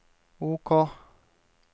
OK